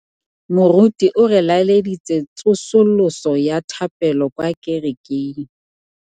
Moruti o re laleditse tsosolosô ya thapelo kwa kerekeng.